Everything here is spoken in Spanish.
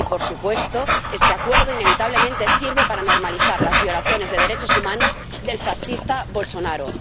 Y, por supuesto, este Acuerdo, inevitablemente, sirve para normalizar las violaciones de derechos humanos del fascista Bolsonaro.